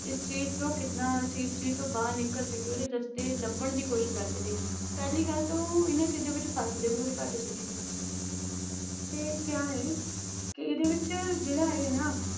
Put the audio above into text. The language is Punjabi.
ਇਸ ਚੀਜ਼ ਤੋਂ ਕਿੰਨਾ ਅਸੀਂ ਇਸ ਚੀਜ਼ ਤੋਂ ਬਾਹਰ ਨਿਕਲ ਸਕੀਏ, ਉਹਦੇ ਰਸਤੇ ਲੱਭਣ ਦੀ ਕੋਸ਼ਿਸ਼ ਕਰਦੇ ਸੀ, ਪਹਿਲੀ ਗੱਲ ਤਾਂ ਉਹ ਇਹਨਾਂ ਚੀਜ਼ਾਂ ਵਿੱਚ ਫਸਦੇ ਬਹੁਤ ਘੱਟ ਸੀਗੇ ਤੇ ਕਿਆ ਹੈ ਕਿ ਇਹਦੇ ਵਿੱਚ ਜਿਹੜਾ ਇਹ ਨਾ